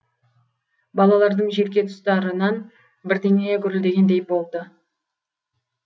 балалардың желке тұстарынан бірдеңе гүрілдегендей болды